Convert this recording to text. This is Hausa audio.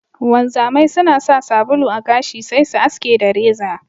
Wanzamai suna sa sabulu a gashi sai su aske da reza.